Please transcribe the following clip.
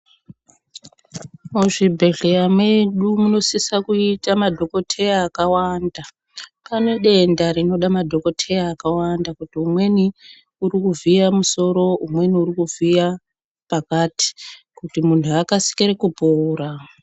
Muzvibhedhlera medu munosisa kuita madhokodheya denda rinoda madhokodheya akawanda kuti umweni uri kuvhuya musoro umweni uri kuvhuya pakati kuti muntu akasire kupora.